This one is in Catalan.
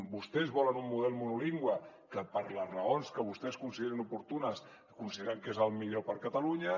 vostès volen un model monolingüe que per les raons que vostès consideren oportunes consideren que és el millor per a catalunya